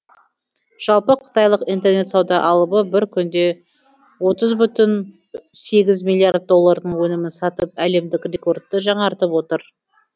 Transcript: жалпы қытайлық интернет сауда алыбы бір күнде отыз бүтін сегіз миллиард доллардың өнімін сатып әлемдік рекордты жаңартып отыр